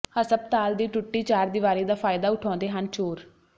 ਹਸਪਤਾਲ ਦੀ ਟੁੱਟੀ ਚਾਰ ਦੀਵਾਰੀ ਦਾ ਫਾਇਦਾ ਉਠਾਉਂਦੇ ਹਨ ਚੋਰ